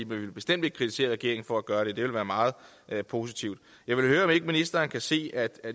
vi ville bestemt ikke kritisere regeringen for at gøre det det ville være meget positivt jeg vil høre om ikke ministeren kan se at